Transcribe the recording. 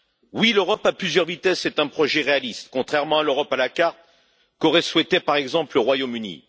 Oui, l'Europe à plusieurs vitesses est un projet réaliste, contrairement à l'Europe à la carte qu'aurait souhaitée, par exemple, le Royaume Uni.